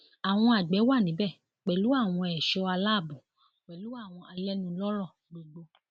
àwọn àgbẹ wà níbẹ pẹlú àwọn ẹṣọ aláàbọ pẹlú àwọn alẹnulọrọ gbogbo